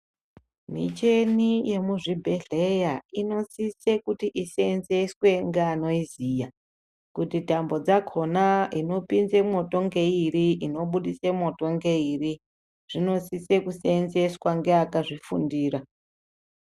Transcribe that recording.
Michini yemuzvibhedhleya inosise kuti iseenzeswe ngeanoiziya kuti tambo dzakona inopinze mwoto ngeiri inobudise mwoto ngeiri, zvinosise kuseenzeswa ngeakazvifundira.